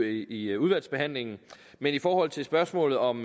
i udvalgsbehandlingen men i forhold til spørgsmålet om